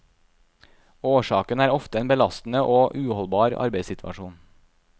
Årsaken er ofte en belastende og uholdbar arbeidssituasjon.